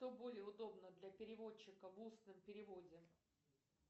что более удобно для переводчика в устном переводе